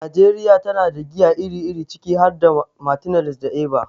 Najeriya tana da giya iri-iri, ciki har da Martineliss da Eva.